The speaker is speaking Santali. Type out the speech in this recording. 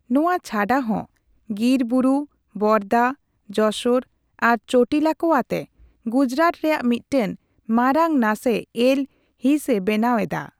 ᱱᱚᱣᱟ ᱪᱷᱟᱰᱟᱦᱚᱸ, ᱜᱤᱨ ᱵᱩᱨᱩ, ᱵᱚᱨᱫᱟ, ᱡᱚᱥᱳᱨ ᱟᱨ ᱪᱳᱴᱤᱞᱟ ᱠᱚ ᱟᱛᱮ ᱜᱩᱡᱽᱨᱟᱴ ᱨᱮᱭᱟᱜ ᱢᱤᱫᱴᱮᱱ ᱢᱟᱨᱟᱝ ᱱᱟᱥᱮ ᱮᱞ ᱦᱤᱸᱥᱼᱮ ᱵᱮᱱᱟᱣ ᱮᱫᱟ ᱾